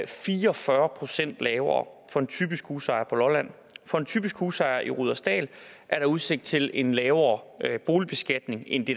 fire og fyrre procent lavere for en typisk husejer på lolland for en typisk husejer i rudersdal er der udsigt til en lavere boligbeskatning end det